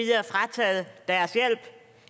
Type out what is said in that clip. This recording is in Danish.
er